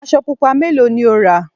aṣọ pupa mélòó ni o rà?